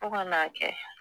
Fɔ ka n'a kɛ